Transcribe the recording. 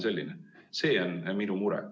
See on minu mure.